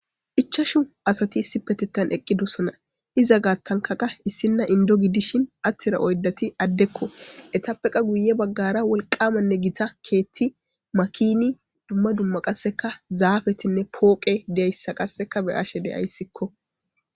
Ichachu asati issipetana eqidosona giza gatanika issina indo gidishin atida oydati adeko etapape miye bagara wolqanne gita keti makini dumma dumma qaseka zapetinne poqe dizaysa beyashe deyasikko